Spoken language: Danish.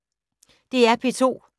DR P2